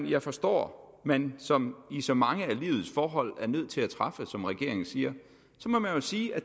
jeg forstår at man som i så mange af livets forhold er nødt til at træffe som regeringen siger så må man jo sige at